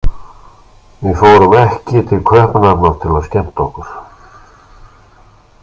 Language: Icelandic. Við fórum ekki til Kaupmannahafnar til að skemmta okkur.